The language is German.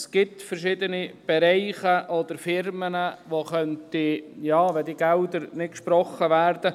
Es gibt verschiedene Bereiche oder Firmen, die gefährdet sein könnten, wenn die Gelder nicht gesprochen werden.